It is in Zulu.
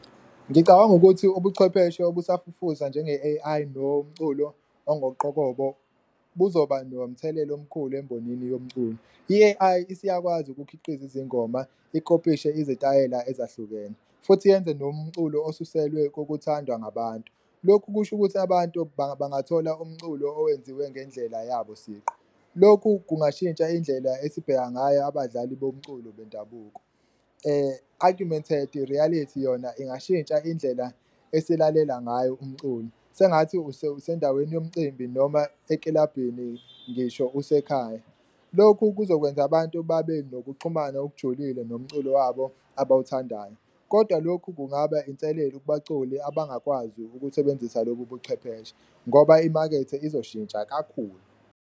Ngicabanga ukuthi ubuchwepheshe obusafufusa njenge-A_I nomculo ongoqokobo kuzoba nomthelela omkhulu embonini yomculo, i-A_I isiyakwazi ukukhiqiza izingoma, ikopishe izitayela ezahlukene futhi yenze nomculo osuselwe kokuthandwa ngabantu. Lokhu kusho ukuthi abantu bangathola umculo owenziwe ngendlela yabo siqu, lokhu kungashintsha indlela esibheka ngayo abadlali bomculo bendabuko. Agumented reality yona ingashintsha indlela eselalela ngayo umculo sengathi usendaweni yomcimbi noma ekilabhini ngisho usekhaya, lokhu kuzokwenza abantu babe nokuxhumana okujulile nomculo wabo abawuthandayo. Kodwa lokhu kungaba inselelo ukubaculi abangakwazi ukusebenzisa lobu buchwepheshe ngoba imakethe izoshintsa kakhulu.